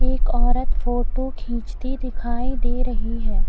एक औरत फोटो खींचती दिखाई दे रही है।